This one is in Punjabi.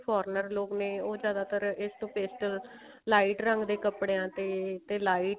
foreigner ਲੋਕ ਨੇ ਉਹ ਜਿਆਦਾਤਰ ਇਸਤੋਂ paste lite ਰੰਗ ਦੇ ਕੱਪੜਿਆ ਤੇ lite